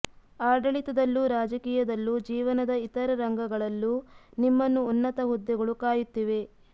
ಆಡಳಿ ತದಲ್ಲೂ ರಾಜಕೀಯದಲ್ಲೂ ಜೀವನದ ಇತರ ರಂಗಗಳಲ್ಲೂ ನಿಮ್ಮನ್ನು ಉನ್ನತ ಹುದ್ದೆಗಳು ಕಾಯುತ್ತಿವೆ